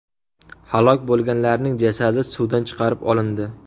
Halok bo‘lganlarning jasadi suvdan chiqarib olindi.